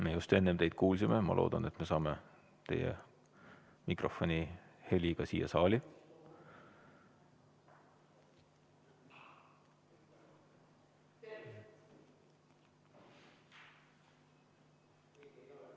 Me just enne teid kuulsime, ma loodan, et saame teie mikrofoni heli ka siia saali.